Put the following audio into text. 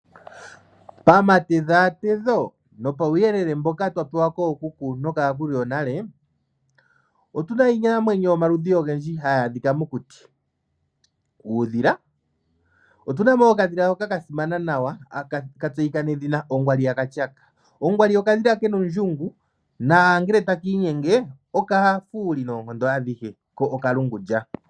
Pamatedhaatedho nopauyelele mboka twa pewa kookuku nokaakulu yonale, otuna iinamwenyo yomaludhi ogendji hayi adhika mokuti uudhila, otuna mo woo okadhila hoka kasimana nawa haka tseyika nedhina ongwaliyakatyaka. Ongwali okadhila ken'ondjungu nangele takiinyenge okafuuli noonkondo adhihe ko okalungulya.